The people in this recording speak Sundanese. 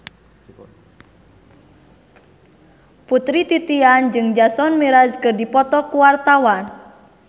Putri Titian jeung Jason Mraz keur dipoto ku wartawan